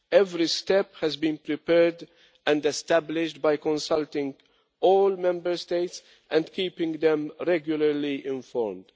Every step has been prepared and established by consulting all Member States and keeping them regularly informed.